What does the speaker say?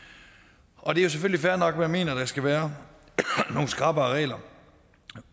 og det er jo selvfølgelig fair nok for jeg mener der skal være nogle skrappere regler